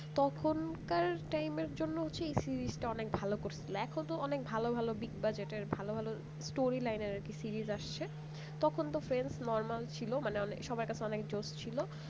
তখনকার time র জন্য হচ্ছে যে এই series টা অনেক ভালো করছিল এখন তো অনেক ভালো ভালো big budget ভালো ভালো story writer এর আর কি series আসছে তখন তো friends ছিল মানে সবার কাছে অনেক জোস ছিল।